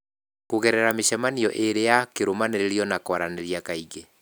Kũgerera mĩcemanio ĩĩrĩ ya kĩrũmanĩrĩrio na kwarĩrĩria kaingĩ